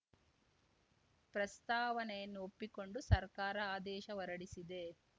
ಪ್ರಸ್ತಾವನೆಯನ್ನು ಒಪ್ಪಿಕೊಂಡು ಸರ್ಕಾರ ಆದೇಶ ಹೊರಡಿಸಿದೆ